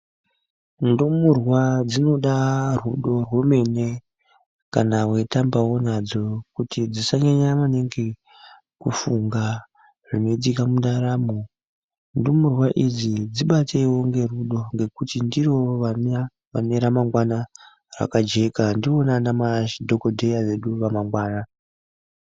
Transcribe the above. Ndumurwa dzinoda rudo rwemene kana weitambawo nadzo kuti dzisanyanya maningi kufunga zvinoitika mundaramo, ndumurwa idzi dzibateiwo ngerudo ngekuti ndivo vane ramangwana rakajeka ndivona ana madhokodheya vedu vamangwana.